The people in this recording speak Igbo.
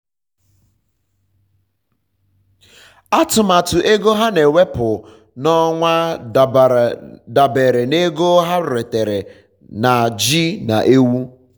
atụmatụ ego ha na ewepu n'ọnwa um dabere na ego ha retara na ji na ewu